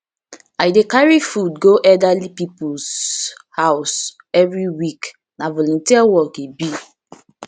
i dey carry food go elderly peoples house every week na volunteer work e be